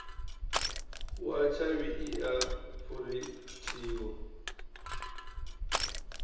wa tshavhi i a phurinthiwa